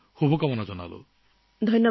আপোনাক শুভেচ্ছা জনালোঁ